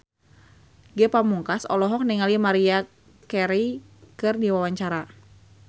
Ge Pamungkas olohok ningali Maria Carey keur diwawancara